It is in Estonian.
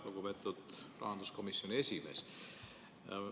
Lugupeetud rahanduskomisjoni esimees!